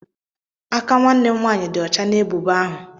Aka nwanne m nwaanyị dị ọcha na ebubo ahụ.